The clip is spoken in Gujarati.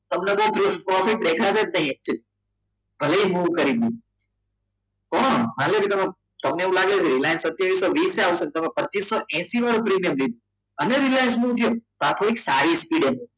તમને તમને પ્રોફિટ દેખાશે જ નહીં પણ માની લો કે તમે તમને એવું લાગી રહ્યું છે કે સત્યવિસો વિસ છે તમે પચિસો હેસિ વાળું પ્રીમિયમ લીધો અને રિલાયન્સ અને રિલાયન્સ નો ઉપયોગ તો એક સારી સ્પીડ હશે